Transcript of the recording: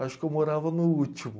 Acho que eu morava no último.